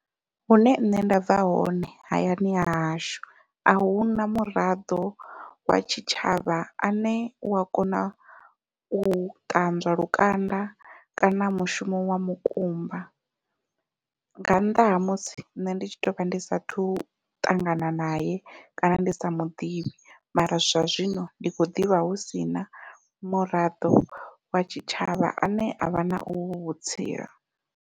Hune nṋe nda bva hone hayani hahashu ahuna muraḓo wa tshitshavha ane u wa kona u ṱanzwa lukanda kana mushumo wa mukumba, nga nnḓa ha musi nṋe ndi tshi tovha ndi sathu ṱangana naye kana ndi sa muḓivhi mara zwa zwino ndi khou ḓivha hu sina muraḓo wa tshitshavha ane avha na uvhu vhutsila.